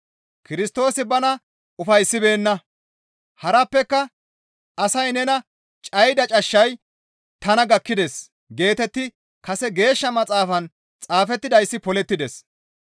Kirstoosi bana ufayssibeenna; harappeka, «Asay nena cayida cashshay tana gakkides» geetetti kase Geeshsha Maxaafan xaafettidayssi polettides.